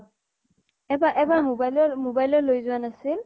এবা এবাৰ mobile লো, mobile লো লৈ যোৱা নাছিল ?